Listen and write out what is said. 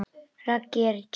Raggi er tíu.